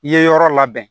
I ye yɔrɔ labɛn